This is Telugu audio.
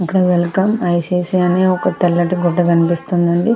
ఇక్కడ వెల్కమ్ ఐ.సి.ఐ.సి.ఐ. అని ఒక తెల్లటి గుడ్డ కనిపిస్తుంది అండి.